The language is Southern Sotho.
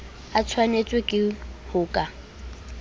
a tshwanetswe ke ho ka